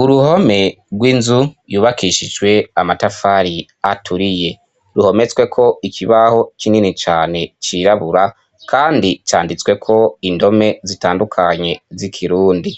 Uruhome rw'inzu yubakishijwe amatafari aturiye ruhometsweko ikibaho kinini cane cirabura, kandi canditswe ko indome zitandukanye zikirundi